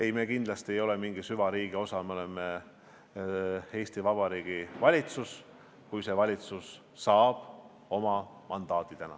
Ei, me kindlasti ei ole mingi süvariigi osa, me oleme Eesti Vabariigi valitsus, kui see valitsus täna oma mandaadi saab.